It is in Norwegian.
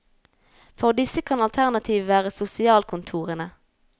For disse kan alternativet være sosialkontorene.